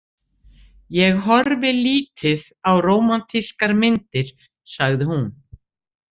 Ég horfi lítið á rómantískar myndir, sagði hún.